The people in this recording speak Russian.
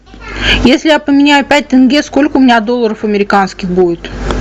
если я поменяю пять тенге сколько у меня долларов американских будет